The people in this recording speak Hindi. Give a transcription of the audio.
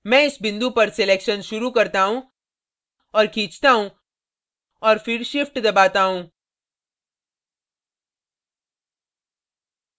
मैं इस बिंदु पर selection शुरू करता हूँ और खींचता हूँ और फिर shift दबाता हूँ